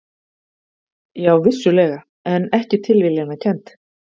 Já, vissulega, en ekki tilviljanakennd.